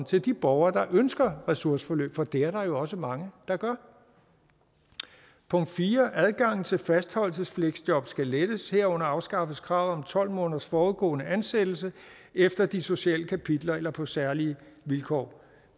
til de borgere der ønsker ressourceforløb for det er der jo også mange der gør punkt fire er at adgangen til fastholdelsesfleksjob skal lettes herunder afskaffes kravet om tolv måneders forudgående ansættelse efter de sociale kapitler eller på særlige vilkår